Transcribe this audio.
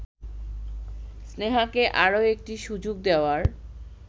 স্নেহাকে আরও একটি সুযোগ দেওয়ার